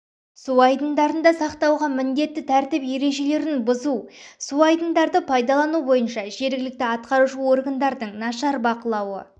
су айдындарында сақтауға міндетті тәртіп ережелерін бұзу су айдындарды пайдалану бойынша жергілікті атқарушы органдардың нашар бақылауы